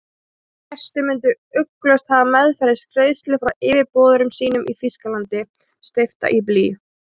Þeir gestir myndu ugglaust hafa meðferðis greiðslu frá yfirboðurum sínum í Þýskalandi, steypta í blý.